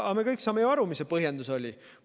Aga me kõik saame ju aru, mis see põhjus oli.